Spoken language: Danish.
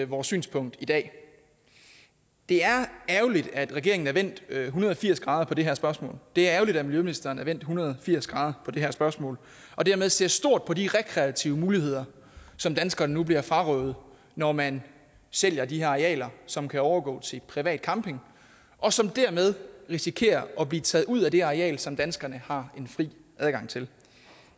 vores synspunkt i dag det er ærgerligt at regeringen er vendt en hundrede og firs grader på det her spørgsmål det er ærgerligt at miljøministeren er vendt en hundrede og firs grader på det her spørgsmål og dermed ser stort på de rekreative muligheder som danskerne nu bliver frarøvet når man sælger de her arealer som kan overgå til privat camping og som dermed risikerer at blive taget ud af det areal som danskerne har en fri adgang til